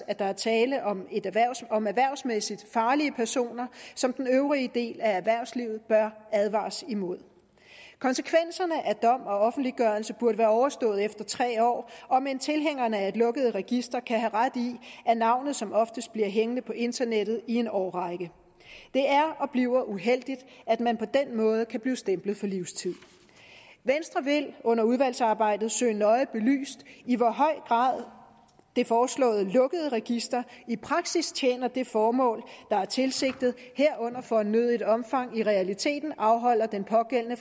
at der er tale om om erhvervsmæssigt farlige personer som den øvrige del af erhvervslivet bør advares imod konsekvenserne af dom og offentliggørelse burde være overstået efter tre år om end tilhængerne af et lukket register kan have ret i at navnet som oftest bliver hængende på internettet i en årrække det er og bliver uheldigt at man på den måde kan blive stemplet for livstid venstre vil under udvalgsarbejdet søge det nøje belyst i hvor høj grad det foreslåede lukkede register i praksis tjener det formål der er tilsigtet herunder i fornødent omfang i realiteten afholder den pågældende